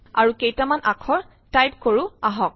আৰু কেইটামান আখৰ টাউপ কৰো আহক